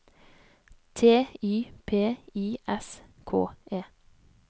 T Y P I S K E